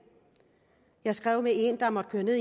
jeg skrev med en der måtte køre ned